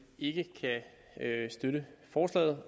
ikke kan støtte forslaget